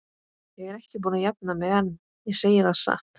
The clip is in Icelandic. Ég er ekki búin að jafna mig enn, ég segi það satt.